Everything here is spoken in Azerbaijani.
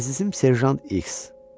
Əzizim Serjant X.